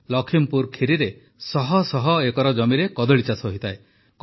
ଲଖିମପୁର ଖିରିରେ ଶହଶହ ଏକର ଜମିରେ କଦଳୀ ଚାଷ ହୋଇଥାଏ